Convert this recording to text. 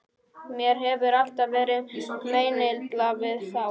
Mér hefur alltaf verið meinilla við þá.